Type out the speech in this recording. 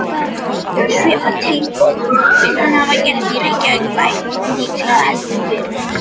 Svipað tilboð mun hann hafa gert Reykjavíkurbæ, líklega heldur fyrr.